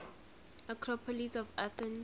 acropolis of athens